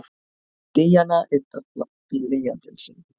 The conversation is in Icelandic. Díana yddar blýantinn sinn.